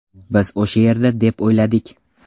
Biz o‘sha yerda deb o‘yladik.